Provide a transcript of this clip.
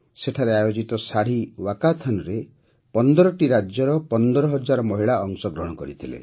ସେଠାରେ ଆୟୋଜିତ ଶାଢ଼ୀ ୱାକାଥନ୍ରେ ୧୫ଟି ରାଜ୍ୟର ୧୫୦୦୦ ମହିଳା ଅଂଶଗ୍ରହଣ କରିଥିଲେ